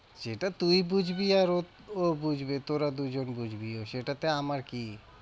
সেটা তুই বুঝবি আর ও ও বুঝবে, তোরা দুজন বুঝবি সেটাতে আমার কি?